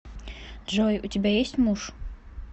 джой у тебя есть муж